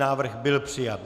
Návrh byl přijat.